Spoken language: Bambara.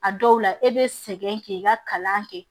A dɔw la e be sɛgɛn k'i ka kalan kɛ